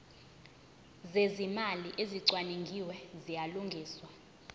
zezimali ezicwaningiwe ziyalungiswa